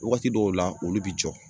Wagati dɔw la olu bi jɔ